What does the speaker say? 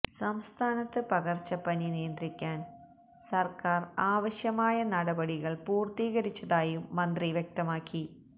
സംസ്ഥാനത്ത് പകര്ച്ചപ്പനി നിയന്ത്രിക്കാന് സര്ക്കാര് ആവശ്യമായ നടപടികള് പൂര്ത്തീകരിച്ചതായും മന്ത്രി വ്യക്തമാക്കി